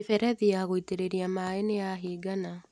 Mĩberethi ya gũitĩrĩria maĩ nĩyahingana.